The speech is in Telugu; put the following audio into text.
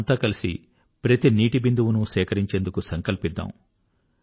మనమంతా కలిసి నీటి యొక్క ప్రతి బిందువును సేకరించేందుకు సంకల్పిద్దాం